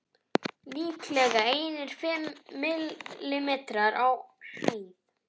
Líklega einir fimm millimetrar á hæð.